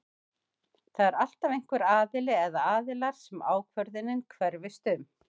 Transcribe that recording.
Það er alltaf einhver aðili eða aðilar sem ákvörðunin hverfist um.